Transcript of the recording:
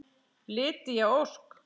Lydia Ósk.